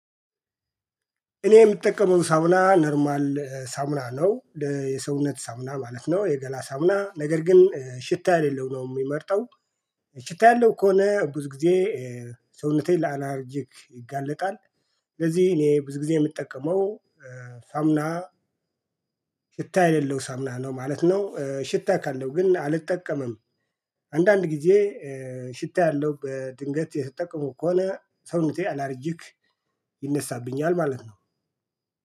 እኔ የምጠቀመው ሳሙና ኖርማል ሳሙና ነው የሰውነት ሳሙና ማለት ነው የገላ ሳሙና ነገር ግን ሽታ የሌለው ነው የምመርጠው። ሽታ ያለው ከሆነ ብዙ ጊዜ ሰውነቴን ለአላርጂክ ይጋለጣል። ስለዚህ እኔ ብዙ ጊዜ የምጠቀመው ሳሙና ሽታ የሌለው ሳሙና ነው ማለት ነው። ሽታ ካለው ግን አልጠቀምም። አንዳንድ ጊዜ ሽታ ያለው በድንገት የሰጠው ከሆነ ሰውነቴ አላርጂክ ይነሳብኛል ማለት ነው።